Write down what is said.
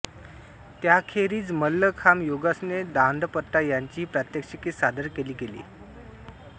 त्याखेरीज मलखांब योगासने दांडपट्टा याचीही प्रात्यक्षिके सादर केली गेली